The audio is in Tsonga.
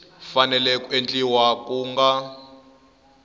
fanele ku endliwa ku nga